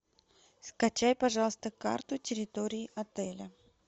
скачай пожалуйста карту территории отеля